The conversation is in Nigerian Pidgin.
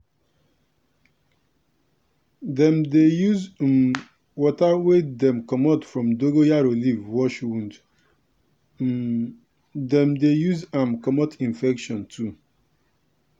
dem dey use um water wey dey comot from dongoyaro leaf wash wound um dem dey use am comot infection too.